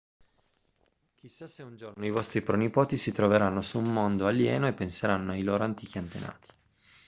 chissà se un giorno i vostri pronipoti si troveranno su un mondo alieno e penseranno ai loro antichi antenati